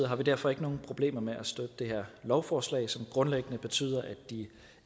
har vi derfor ikke nogen problemer med at støtte det her lovforslag som grundlæggende betyder at de